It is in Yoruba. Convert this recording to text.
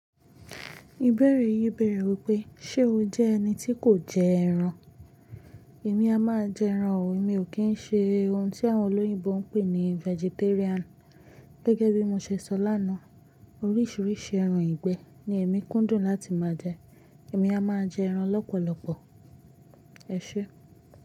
Ìbẹ̀rẹ̀ yìí bẹ̀rẹ̀ wí pé, ṣe o jẹ́ ẹni tí kò jẹ ẹran? Èmi a máa jẹ ẹran o, èmi o kín ṣe ohun tí àwọn olóyìnbo ń pè ní vegetarian. Gẹ́gẹ́ bí mo ṣe sọ lánàá, oríṣiríṣi ẹran ìgbẹ́ ni èmi kúndùn láti máa jẹ, èmi a máa jẹ ẹran lọ́pọ̀lọpọ̀. Ẹ ṣé.